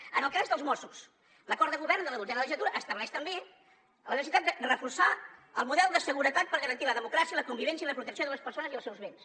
en el cas dels mossos l’acord de govern de la dotzena legislatura estableix també la necessitat de reforçar el model de seguretat per garantir la democràcia la convivència i la protecció de les persones i els seus béns